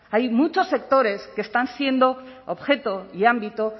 hay muchos sectores que están siendo objeto y ámbito